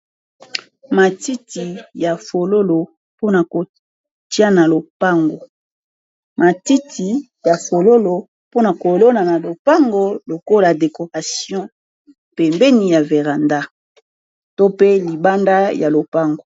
Matiti ya fololo pona ko tia lopango, matiti ya fololo pona ko lona na lopango lokola decoration pembeni ya veranda, to pe libanda ya lopango.